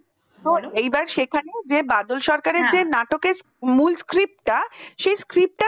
এইবার সেখানে যে বাদাল সরকার এর নাটকের মূল script শেষ script টা